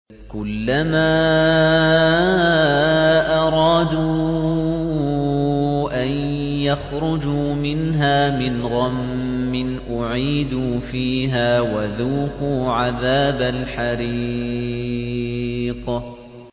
كُلَّمَا أَرَادُوا أَن يَخْرُجُوا مِنْهَا مِنْ غَمٍّ أُعِيدُوا فِيهَا وَذُوقُوا عَذَابَ الْحَرِيقِ